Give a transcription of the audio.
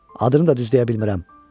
adını da düz deyə bilmirəm.